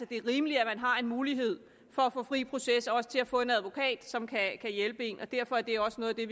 det er rimeligt at man har en mulighed for at få fri proces og også til at få en advokat som kan hjælpe en og derfor er det også noget af det